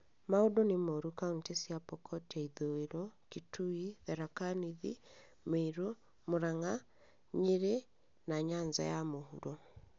Maũndũ nĩ moru kauntĩ cia Pokot ya ithũĩro, Kitui, Tharaka-Nithi, Meru, Muranga, Nyeri, na Nyanza ya mũhuro